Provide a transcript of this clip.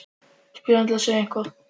spyr hann til að segja eitthvað.